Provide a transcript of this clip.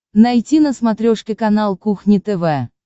найти на смотрешке канал кухня тв